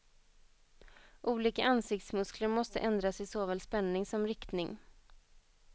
Olika ansiktsmuskler måste ändras i såväl spänning som riktning.